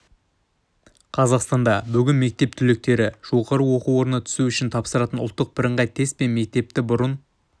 қазақстанда бүгін мектеп түлектері жоғары оқу орнына түсу үшін тапсыратын ұлттық бірыңғай тест пен мектепті бұрын